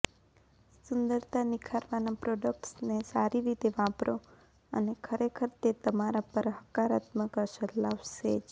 સુંદરતા નિખારવાના પ્રોડક્ટ્સને સારી રીતે વાપરો અને ખરેખર તે તમારા પર હકારાત્મક અસર લાવશે જ